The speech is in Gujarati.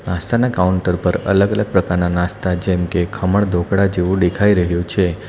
નાસ્તાના કાઉન્ટર પર અલગ-અલગ પ્રકારના નાસ્તા જેમ કે ખમણ ઢોકળા જેવું દેખાઈ રહ્યું છે.